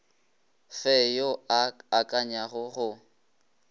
fe yo a akanyago go